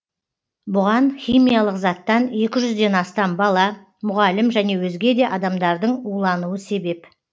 бұған химиялық заттан екі жүзден астам бала мұғалім және өзге де адамдардың улануы себеп